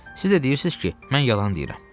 Siz də deyirsiz ki, mən yalan deyirəm.